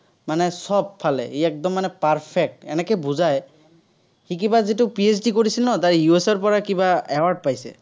মানে সবফালে, ই একদম perfect, এনেকে বুজায়। সি কিবা যিটো PhD কৰিছিল নহয়, US ৰ পৰা কিবা award পাইছে।